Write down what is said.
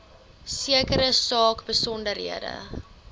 sekere saak besonderhede